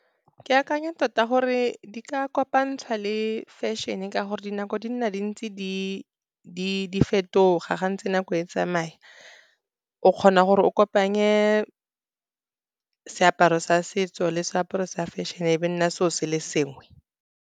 Ke akanya tota gore di ka kopantshwa le fashion-e, ka gore dinako di nna di ntse di fetoga gantsi. Nako e tsamaya, o kgona gore o kopanye seaparo sa setso le seaparo sa fashion-e, be nna selo se le sengwe.